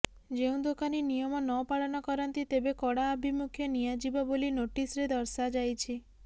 ଯେଉଁ ଦୋକାନୀ ନିୟମ ନ ପାଳନ କରନ୍ତି ତେବେ କଡା ଆଭିମୁଖ୍ୟ ନିଆଯିବ ବୋଲି ନୋଟିସ୍ ରେ ଦର୍ଶାଯାଇଛି